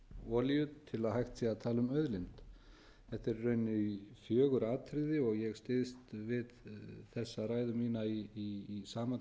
olíu til að hægt sé að tala um auðlind þetta eru í rauninni fjögur atriði og ég styðst við þessa ræðu mína við samantekt